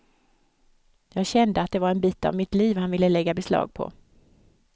Jag kände att det var en bit av mitt liv han ville lägga beslag på.